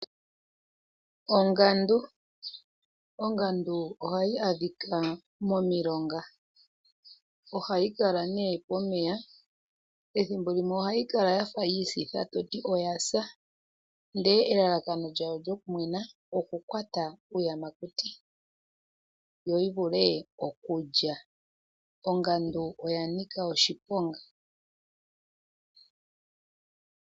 Ongandu ohayi monika pomilonga. Ohayi kala pomeya. Ethimbo limwe ohayi kala yafa yiisitha toti oya sa , ndele elalakano lyawo lyokumwena okukwata uuyamakuti , yo yivule okulya. Ongandu oya nika oshiponga.